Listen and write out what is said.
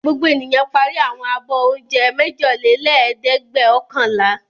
Gbogbo ènìyàn parí àwọn abọ́ oúnjẹ mẹ́jọlélẹ́ẹ̀dẹ́gbẹ̀ọ̀kànlá.